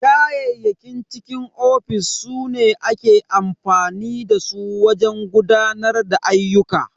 Kayayyakin cikin ofis su ne ake amfani da su wajen gudanar da ayyuka.